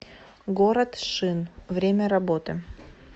город шин время работы